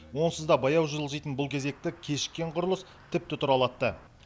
онсыз да баяу жылжитын бұл кезекті кешіккен құрылыс тіпті тұралатты